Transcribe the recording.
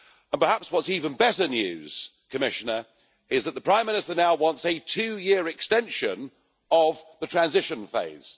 Perhaps what is even better news, Commissioner, is that the Prime Minister now wants a two year extension of the transition phase.